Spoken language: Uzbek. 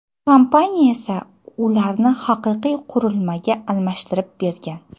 Kompaniya esa ularni haqiqiy qurilmaga almashtirib bergan.